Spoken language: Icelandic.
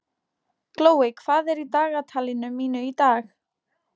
Glóey, hvað er í dagatalinu mínu í dag?